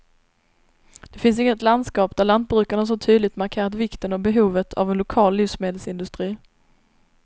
Det finns inget landskap där lantbrukarna så tydligt markerat vikten och behovet av en lokal livsmedelsindustri.